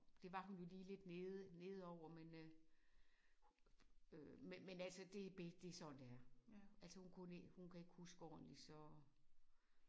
Det var hun jo lige lidt nede nede over men øh øh men men altså det det sådan det er hun kan ikke huske ordentligt så